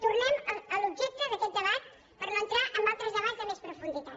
tornem a l’objecte d’aquest debat per no entrar en altres debats de més profunditat